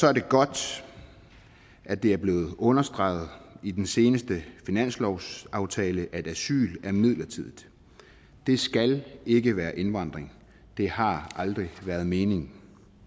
er det godt at det er blevet understreget i den seneste finanslovsaftale at asyl er midlertidigt det skal ikke være indvandring det har aldrig været meningen